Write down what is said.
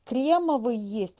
кремовый есть